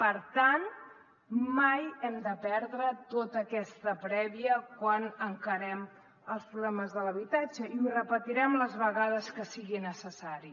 per tant mai hem de perdre tota aquesta prèvia quan encarem els problemes de l’habitatge i ho repetirem les vegades que sigui necessari